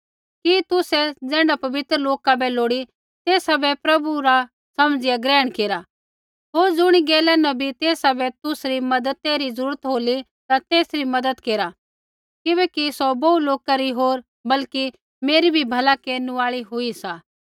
कि तुसै ज़ैण्ढा पवित्र लोका बै लोड़ी तेसा बै प्रभु रा समझिया ग्रहण केरा होर ज़ुणी गैला न भी तेसा बै तुसरी मज़ती री जरूरत होली ता तेसरी मज़द केरा किबैकि सौ बोहू लोका री होर बल्कि मेरी भी भला केरनु आई हुई सा